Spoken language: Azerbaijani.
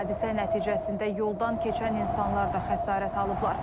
Hadisə nəticəsində yoldan keçən insanlar da xəsarət alıblar.